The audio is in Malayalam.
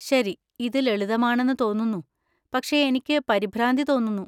ശരി, ഇത് ലളിതമാണെന്ന് തോന്നുന്നു, പക്ഷേ എനിക്ക് പരിഭ്രാന്തി തോന്നുന്നു.